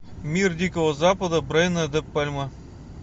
мир дикого запада брайана де пальмы